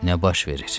Nə baş verir?